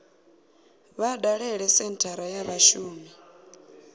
vha dalele senthara ya vhashumi